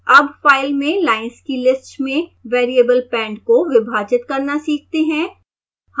अब फाइल में लाइन्स की लिस्ट में variable pend को विभाजित करना सीखते हैं